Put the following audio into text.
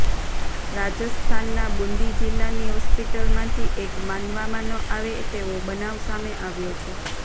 રાજસ્થાનના બૂંદી જિલ્લાની હોસ્પિટલમાંથી એક માનવામા ન આવે તેવો બનાવ સામે આવ્યો છે